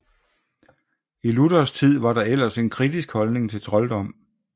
I Luthers tid var der ellers en kritisk holdning til trolddom